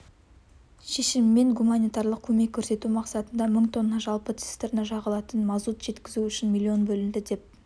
шешімімен гуманитарлық көмек көрсету мақсатында мың тонна жалпы цистерна жағылатын мазут жеткізу үшін миллион бөлінді деп